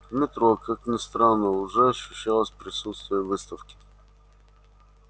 в метро как ни странно уже ощущалось присутствие выставки